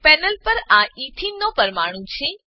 panel પર આ ethene ethene નો પરમાણુ છે